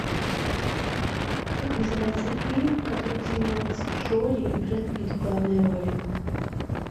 как называется фильм в котором снимается джоли и брэд питт в главной роли